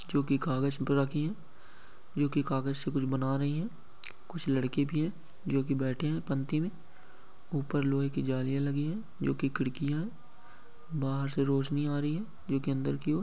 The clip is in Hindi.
क्योंकि कागज में रखी है। कागज से कुछ बना रही है कुछ लड़के भी है जो की बैठे हैं पंक्ति में। उपर लोहे की जालियां लगी है जो कि खिड़कियां है। बाहर से रोशनी आ रही क्योंकि अंदर की ऑर।